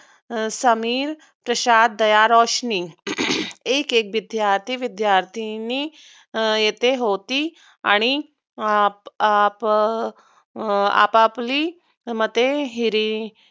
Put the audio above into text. समीर, तुषार, दया, रोशनी एक एक विद्यार्थी विद्यार्थिनी येथे होती. आणि आपआपआपापली मते हिरी